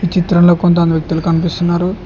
ఈ చిత్రంలో కొంతమంది వ్యక్తులు కనిపిస్తున్నారు.